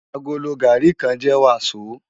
Àgóló gàrí kán jè wasó